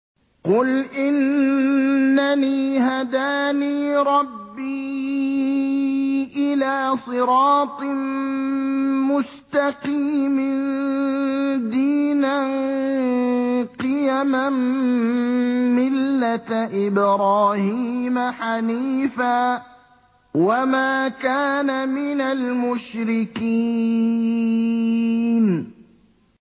قُلْ إِنَّنِي هَدَانِي رَبِّي إِلَىٰ صِرَاطٍ مُّسْتَقِيمٍ دِينًا قِيَمًا مِّلَّةَ إِبْرَاهِيمَ حَنِيفًا ۚ وَمَا كَانَ مِنَ الْمُشْرِكِينَ